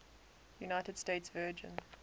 united states virgin